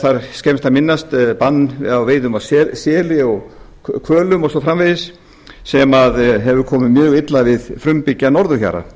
þar skemmst að minnast banns á veiðum á seli og hvölum og svo framvegis sem hefur komið mjög illa við frumbyggja norðurhjara